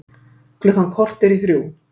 Klukkan korter í þrjú